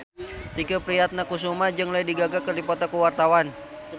Tike Priatnakusuma jeung Lady Gaga keur dipoto ku wartawan